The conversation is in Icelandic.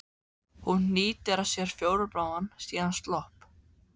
Hún hnýtir að sér fjólubláan, síðan slopp.